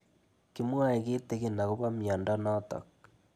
Kimwae kitig'in akopo miondo notok